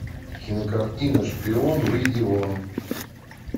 кинокартина шпион выйди вон